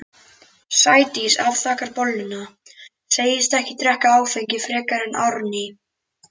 Sædís afþakkar bolluna, segist ekki drekka áfengi frekar en Árný.